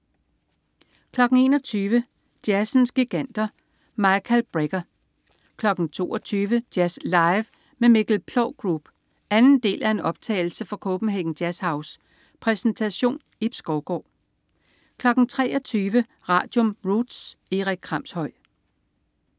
21.00 Jazzens giganter: Michael Brecker 22.00 Jazz Live med Mikkel Ploug Group. Anden del af en optagelse fra Copenhagen JazzHouse. Præsentation: Ib Skovgaard 23.00 Radium. Roots. Erik Kramshøj